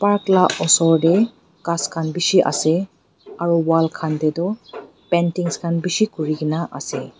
park lah oshor teh ghass khan bishi ase aru wall khan teh tu paintings khan bishi kuri ke na ase.